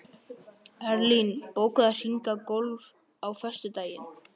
Erlín, bókaðu hring í golf á föstudaginn.